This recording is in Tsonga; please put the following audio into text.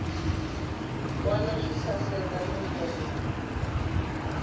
wana swi saseka no vonaka